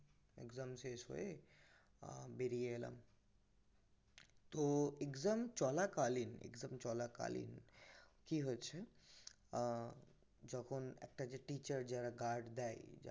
exam শেষ হয়ে আহ বেরিয়ে এলাম তহ exam চলাকালীন exam চলাকালীন কি হয়েছে আহ যখন একটা যে teacher যে guard দেয়